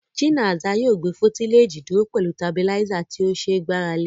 Chinaza yóò gbé fólítèjì dúró pẹ̀lú tabiláísà tí ó ṣe é gbára lé.